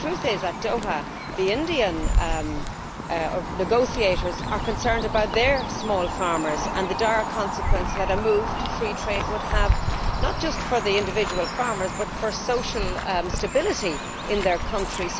However, the truth is that at Doha the Indian negotiators are concerned about their small farmers and the dire consequences that a move to free trade would have not only for individual farmers but also for social stability in their country.